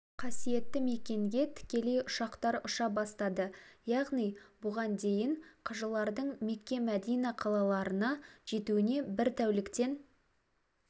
қасиетті мекенге тікелей ұшақтар ұша бастады яғни бұған дейін қажылардың мекке-мәдина қалаларына жетуіне бір тәуліктен